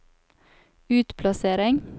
utplassering